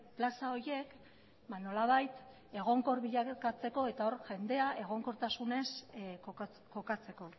plaza horiek nolabait egonkor bilakatzeko eta jendea egonkortasunez kokatzeko